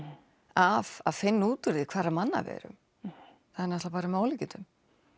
af að finna út úr því hverra manna við erum það er náttúrulega með ólíkindum